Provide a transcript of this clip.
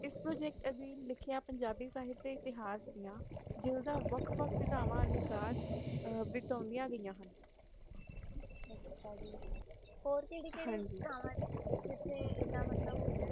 ਇਸ ਪ੍ਰੋਜੈਕਟ ਅਧੀਨ ਲਿਖਿਆ ਪੰਜਾਬੀ ਸਾਹਿਤ ਦੇ ਇਤਿਹਾਸ ਦੀਆਂ ਵਿਊਤਾਂ ਵੱਖ ਵੱਖ ਵਿਧਾਵਾਂ ਅਨੁਸਾਰ ਹੀ ਆ ਗਈਆਂ ਹਨ ਅੱਛਾ ਜੀ ਹਨ ਜੀ ਹੋ ਕੇਹਰਿ ਕੇਹਰਿ ਅਸਥਾਨਾਂ ਨੇ ਜਿਥੇ ਇਹ ਮਤਲਬ